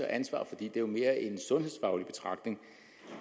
ansvar for det er jo mere en sundhedsfaglig betragtning